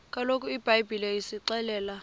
kaloku ibhayibhile isixelela